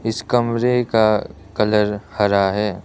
इस कमरे का कलर हरा है।